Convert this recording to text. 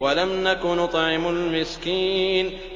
وَلَمْ نَكُ نُطْعِمُ الْمِسْكِينَ